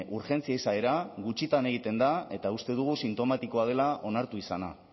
urgentzia izaera gutxitan egiten da eta uste dugu sintomatikoa dela onartu izana